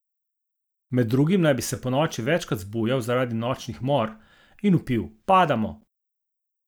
Med drugim naj bi se ponoči večkrat zbujal zaradi nočnih mor in vpil: "Padamo".